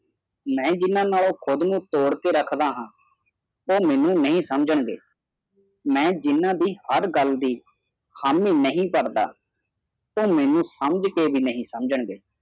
ਮਾ ਜਿਨਾ ਨਾਲੋ ਕੂੜ ਨੂ ਤੁਧ ਕੇ ਰੇਖਦਾ ਹਾ ਓਹ ਮੀਨੂ ਨਹੀ ਸਮਝਣਗੇ ਮੈ ਜਿਨਾ ਦੀ ਹਾਰ ਗਲ ਹਾਮੀ ਨਹੀਂ ਕਰਦਾ ਓ ਮੈਨੂੰ ਸਮਝ ਕੇ ਵੀ ਨਹੀਂ ਸਮਝਣਗੇ